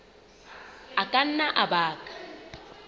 a ka nna a baka